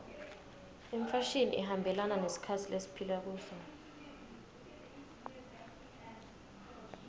imfashini ihambelana nesikhatsi lesiphila kuso